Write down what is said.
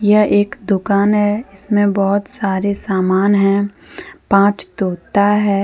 यह एक दुकान है इसमें बहुत सारे सामान है पांच तोता है।